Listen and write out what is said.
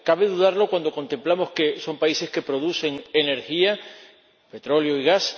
¿Cabe dudarlo cuando contemplamos que son países que producen energía −petróleo y gas−